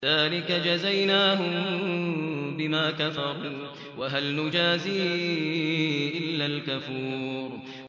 ذَٰلِكَ جَزَيْنَاهُم بِمَا كَفَرُوا ۖ وَهَلْ نُجَازِي إِلَّا الْكَفُورَ